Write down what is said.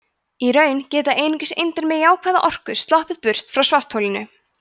í raun geta einungis eindir með jákvæða orku sloppið burt frá svartholinu